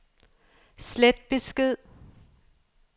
slet besked